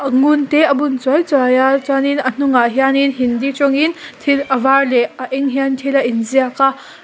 ngun te a bun chuai chuai a chuanin a hnungah hian in hindi tawngin thil a var leh a eng hian thil a in ziak a.